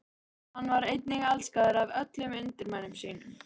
Hann var einnig elskaður af öllum undirmönnum sínum.